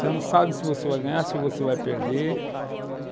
Você não sabe se você vai ganhar, se você vai perder.